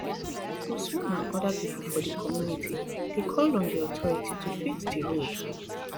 usman and oda pipo for di community dey call on di authority to fix di road